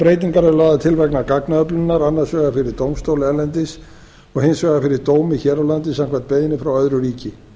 breytingar eru lagðar til vegna gagnaöflunar annars vegar fyrir dómstóla erlendis og hins vegar fyrir dómi hér á landi samkvæmt beiðni frá öðru ríki